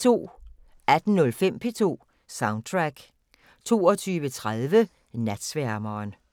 18:05: P2 Soundtrack 22:30: Natsværmeren